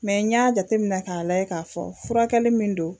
Mɛ n y'a jateminɛ k'a lajɛ k'a fɔ furakɛli min don